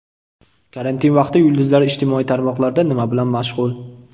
Karantin vaqti yulduzlar ijtimoiy tarmoqlarda nima bilan mashg‘ul?.